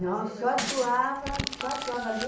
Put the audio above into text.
Não, só atuava ali.